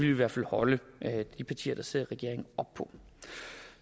i hvert fald holde de partier der sidder i regering op på